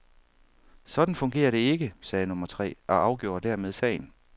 Sådan fungerer det ikke, sagde nummer tre, og afgjorde dermed sagen.